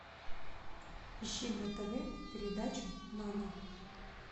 ищи на тв передачу нано